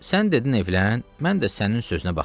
Sən dedin evlən, mən də sənin sözünə baxdım.